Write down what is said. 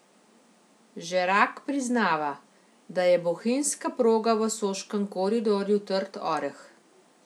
Žerak priznava, da je bohinjska proga v soškem koridorju trd oreh.